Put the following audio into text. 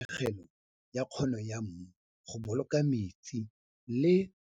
Tatlhegelo ya kgono ya mmu go boloka metsi le.